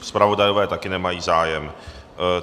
Zpravodajové také nemají zájem.